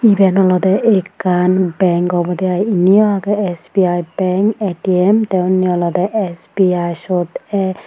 Eben olode akkan bank obode aai inniyo age S B I bank A T M tay unni olode S B I sot a.